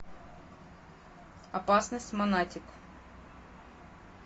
опасность монатик